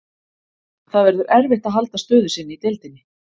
Það verður erfitt að halda stöðu sinni í deildinni.